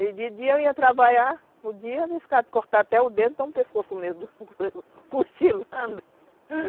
E de dia eu ia trabalhar, no dia arriscado cortar até o dedo, cochilando.